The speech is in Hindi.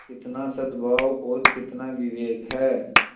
कितना सदभाव और कितना विवेक है